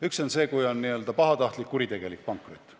Üks on see, kui on n-ö pahatahtlik, kuritegelik pankrot.